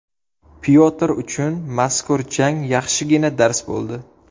Pyotr uchun mazkur jang yaxshigina dars bo‘ldi.